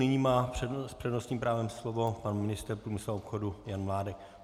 Nyní má s přednostním právem slovo pan ministr průmyslu a obchodu Jan Mládek.